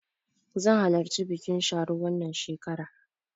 Zan halarci bikin sharo wannan shekarar.